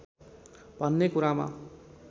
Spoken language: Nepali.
भन्ने कुरामा